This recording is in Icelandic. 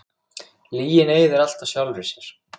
Lygin eyðir alltaf sjálfri sér.